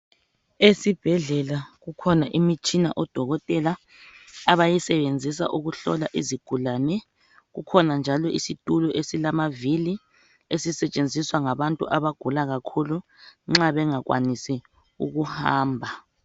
Esibhedlela kukhona imitshina odokotela abayisebenzisa ukuhlola izigulani kukhona njalo isitulo esilamavili esisetshenziswa ngabantu abagula kakhulu nxa bengakwanisi ukuhamba.